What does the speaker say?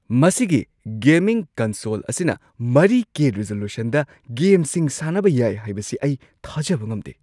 ꯃꯁꯤꯒꯤ gaming console ꯑꯁꯤꯅ ꯴ꯀꯦ ꯔꯤꯖꯣꯂꯨꯁꯟꯗ ꯒꯦꯝꯁꯤꯡ ꯁꯥꯟꯅꯕ ꯌꯥꯏ ꯍꯥꯏꯕꯁꯤ ꯑꯩ ꯊꯥꯖꯕ ꯉꯝꯗꯦ꯫